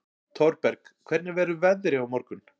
Thorberg, hvernig verður veðrið á morgun?